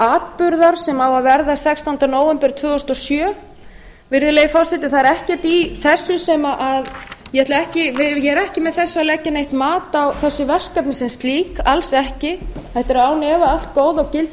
atburðar sem á að verða sextánda nóvember tvö þúsund og sjö virðulegi forseti það er ekkert í þessu sem ég ég er ekki með þessu að leggja neitt mat á þessi verkefni sem slík alls ekki þetta eru án efa allt góð og gild